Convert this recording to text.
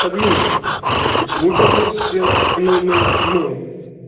админ почему ты относишься к ноль ноль седьмому